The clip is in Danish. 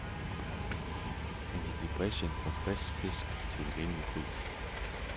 Han gik i brechen for frisk fisk til en rimelig pris.